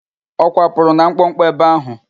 Ọ kwapụrụ na mkpọkpọ ebe áhụ̀?